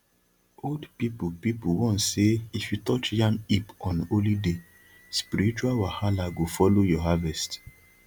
old people people warn say if you touch yam heap on holy day spiritual wahala go follow your harvest